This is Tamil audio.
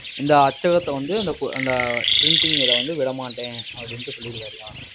இந்த அச்சகத்தை வந்து, அந்த அந்த printing இதை வந்து விடமாட்டேன் அப்படின்னுட்டு சொல்லிருக்காருய்யா.